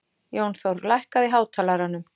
Jónþór, lækkaðu í hátalaranum.